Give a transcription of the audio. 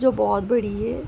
जो बोहोत बड़ी है।